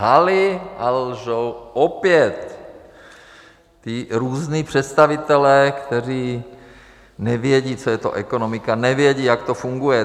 Lhali a lžou opět, ti různí představitelé, kteří nevědí, co je to ekonomika, nevědí, jak to funguje.